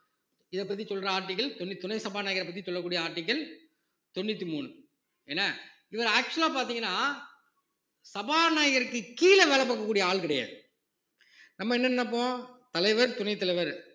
இதைப்பத்தி சொல்ற article தொண்ணூத்தி ஒன்னு துணை சபாநாயகரைப் பத்தி சொல்லக்கூடிய article தொண்ணூத்தி மூணு என்ன இவர் actual ஆ பார்த்தீங்கன்னா சபாநாயகருக்குக் கீழே வேலை பார்க்கக்கூடிய ஆள் கிடையாது நம்ம என்ன நினைப்போம் தலைவர் துணைத் தலைவர்